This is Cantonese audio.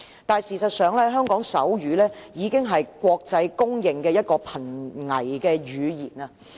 但是，事實上，香港手語已經是國際公認的瀕危語言。